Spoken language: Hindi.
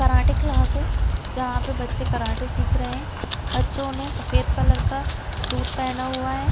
कराटे क्लास है जहाँ पे बच्चे कराटे सिख रहै है बच्चो ने सफेद कलर का सूट पहना हुआ हैं।